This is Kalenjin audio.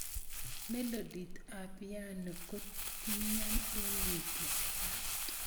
melodit ap piano kotinyo eng mutio